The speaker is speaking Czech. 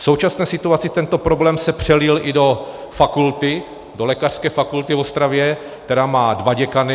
V současné situaci tento problém se přelil i do fakulty, do lékařské fakulty v Ostravě, která má dva děkany.